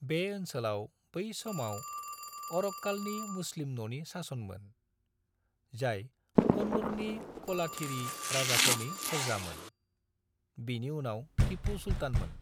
बे ओनसोलाव बै समाव अरक्कालनि मुस्लिम न'नि सासनमोन, जाय कन्नूरनि क'लाथिरी राजाफोरनि फोरजामोन, बिनि उनाव टीपू सुल्तानमोन।